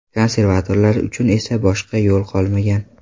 Konservatorlar uchun esa boshqa yo‘l qolmagan.